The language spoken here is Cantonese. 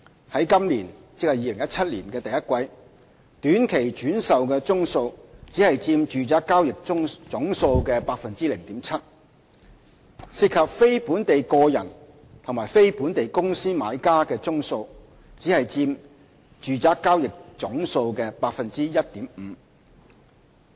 在今年的第一季，短期轉售宗數只佔住宅交易總數的 0.7%； 涉及非本地個人和非本地公司買家的宗數則只佔住宅交易總數的 1.5%。